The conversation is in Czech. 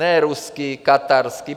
Ne ruský, katarský.